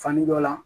Fani dɔ la